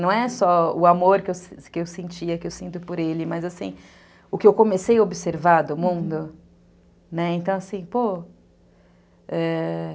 Não é só o amor que eu sentia, que eu sinto por ele, mas o que eu comecei a observar do mundo.